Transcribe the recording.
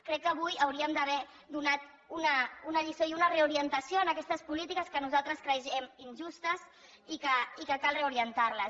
crec que avui hauríem d’haver donat una lliçó i una reorientació a aquestes polítiques que nosaltres creiem injustes i que cal reorientar les